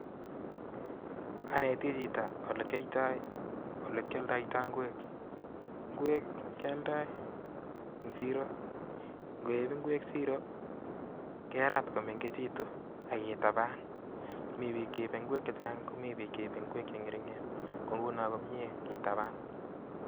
Aneti Chito elekyoto ,olekyoldoitoi ingwek. Ngwek kiyoldoi en siro ak ngeip ingwkek siro kerat komengegitun aK kitaban mi bi cheibe ingwek chechang AK komii cheipe ingwek chengernger, kounon komie kitaban